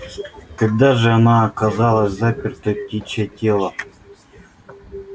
когда же она оказалась запертой в птичье тело